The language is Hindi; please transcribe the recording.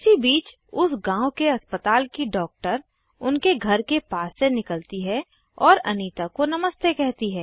इसी बीच उस गांव के अस्पताल की डॉक्टर उनके घर के पास से निकलती है और अनीता को नमस्ते कहती है